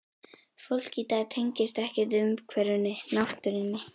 Fólk í dag tengist ekkert umhverfinu, náttúrunni.